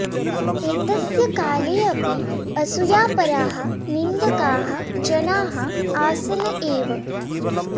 एतस्य काले अपि असूयापराः निन्दकाः जनाः आसन् एव